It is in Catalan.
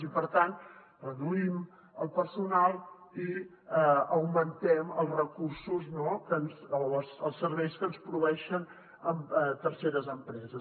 i per tant reduïm el personal i augmentem els recursos no o els serveis que ens proveeixen terceres empreses